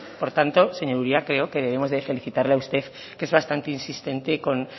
por tanto señor uria creo que debemos de felicitarle a usted que es bastante insistente con